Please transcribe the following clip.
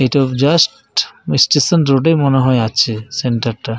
ইটা just station road -এই মনে হয় আছে এ সেন্টার টা।